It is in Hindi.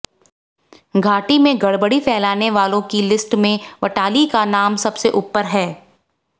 घाटी में गड़बड़ी फैलानो वालों की लिस्ट में वटाली का नाम सबसे ऊपर है